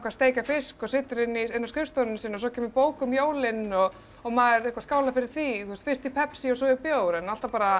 steikja fisk og situr inni á skrifstofunni sinni og svo kemur bók um jólin og maður skálar fyrir því fyrst í pepsi og svo í bjór en alltaf bara